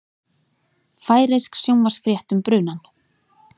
Færeysk sjónvarpsfrétt um brunann